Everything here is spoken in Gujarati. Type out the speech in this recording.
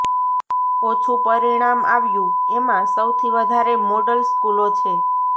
ઓછું પરિણામ આવ્યું એમાં સૌથી વધારે મોડલ સ્કૂલો છે